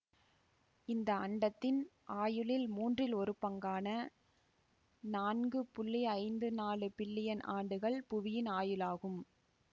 இந்த அண்டத்தின் ஆயுளில் மூன்றில் ஒரு பங்கான நான்கு புள்ளி ஐந்து நாலு பில்லியன் ஆண்டுகள் புவியின் ஆயுளாகும்